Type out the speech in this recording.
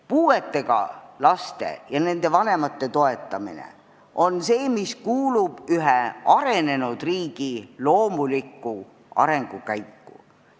Puuetega laste ja nende vanemate toetamine kuulub samuti ühe arenenud riigi loomulikku arengukäiku.